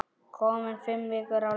Komin fimm vikur á leið.